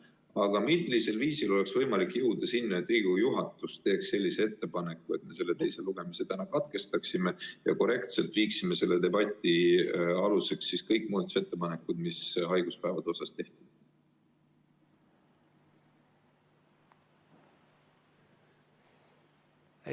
Aga millisel viisil oleks võimalik jõuda selleni, et Riigikogu juhatus teeks ettepaneku, et me teise lugemise täna katkestaksime ja kaasaksime korrektselt sellesse debatti kõik muudatusettepanekud, mis haiguspäevade kohta tehti?